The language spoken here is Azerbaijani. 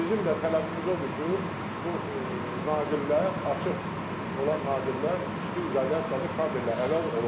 Bizim də tələbimiz odur ki, bu naqillər açıq olan naqillər üstü izolyasiyalı kabellə əvəz olunsun.